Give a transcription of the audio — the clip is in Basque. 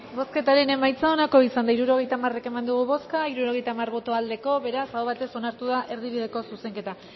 bozketaren emaitza onako izan da hirurogeita hamar eman dugu bozka hirurogeita hamar boto aldekoa beraz aho batez onartu da erdibideko zuzenketa